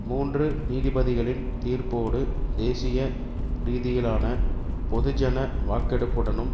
மூன்று நீதிபதிகளின் தீர்ப்போடு தேசிய ரீதியிலான பொது ஜன வாக்கெடுப்புடனும்